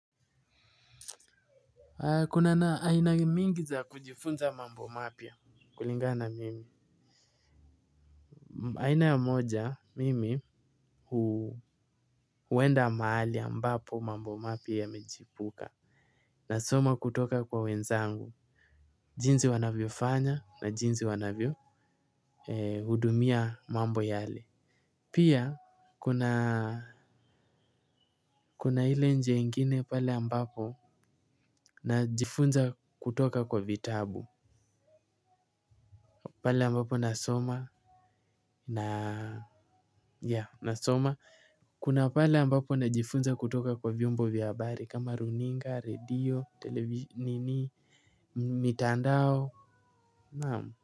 Kuna na aina mingi za kujifunza mambo mapya kulingana na mimi. Aina ya moja mimi huwenda maali ambapo mambo mapya yamejipuka. Na soma kutoka kwa wenzangu, jinsi wanavyo fanya na jinsi wanavyo hudumia mambo yale. Pia kuna hile njia ingine pale ambapo na jifunza kutoka kwa vitabu. Pale ambapo nasoma kuna pale ambapo najifunza kutoka kwa vyombo vya habari kama runinga redio televi mtandao naam.